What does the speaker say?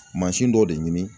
Mansin dɔ de ɲini